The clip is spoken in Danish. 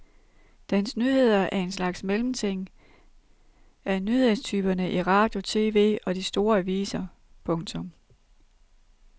Dens nyheder er en slags mellemting af nyhedstyperne i radio tv og de store aviser. punktum